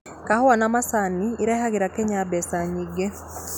Kahũa na macani irehagĩra Kenya mbeca nyingi